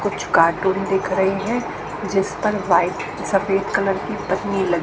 कुछ कार्टून दिख रहे हैं जिस पर वाइट सफेद कलर पन्नी ल--